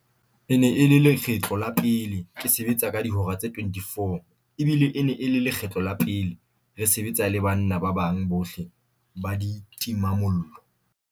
"E ne e le lekgetlo la pele ke sebetsa ka dihora tse 24 ebile e ne e le lekgetlo la pele re se-betsa le banna ba bang bohle ba ditimamollo."